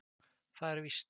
Það er víst.